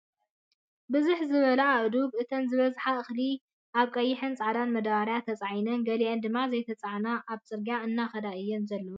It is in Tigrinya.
ብዝሕ ዝበላ ኣእዱግ እተን ዝበዝሓ እክሊ ኣብ ቀይሕን ፃዕዳን ማዳበርያ ተፃዒነን ገሊአን ድማ ዘይተፃዓና ኣብ ፅርግገያ እናከዳ እየን ዘለዋ ።